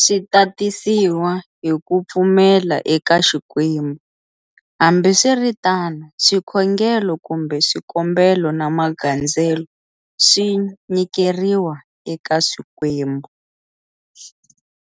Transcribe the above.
Swi tatisiwa hi ku pfumela eka xikwembu, hambiswiritano swikhongelo kumbe swikombelo na magandzelo swi nyikeriwa eka swikwembu.